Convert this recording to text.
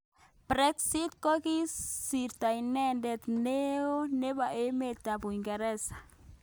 Brexit kokiisto inendet neo nebo emet ab Uingereza.